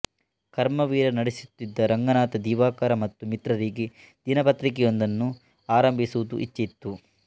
ಕರ್ಮವೀರ ನಡೆಸುತ್ತಿದ್ದ ರಂಗನಾಥ ದಿವಾಕರ ಮತ್ತು ಮಿತ್ರರಿಗೆ ದಿನಪತ್ರಿಕೆಯೊಂದನ್ನು ಆರಂಭಿಸುವ ಇಚ್ಛೆಯಿತ್ತು